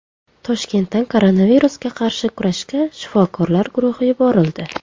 Toshkentdan koronavirusga qarshi kurashga shifokorlar guruhi yuborildi.